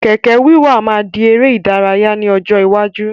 Kẹ̀kẹ́ wíwà máa di ère ìdárayá ni ọjọ́ iwájú